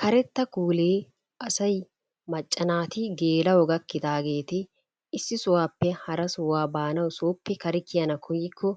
Karetta kuulee asay macca naati geela'o gakkidaageeti issi sohuwappe hara sohuwa baanawu sooppe kare kiyana koyikko